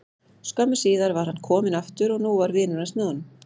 Skömmu síðar var hann kominn aftur og nú var vinur hans með honum.